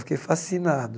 Fiquei fascinado.